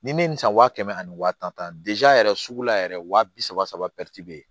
Ni ne ye nin san wa kɛmɛ ani wa tan ta yɛrɛ sugu la yɛrɛ wa bi saba saba bɛ yen